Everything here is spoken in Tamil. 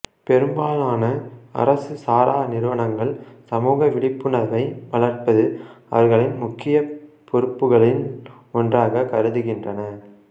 பெரும்பாலான அரசு சாரா நிறுவனங்கள் சமூக விழிப்புணர்வை வளர்ப்பது அவர்களின் முக்கிய பொறுப்புகளில் ஒன்றாக கருதுகின்றன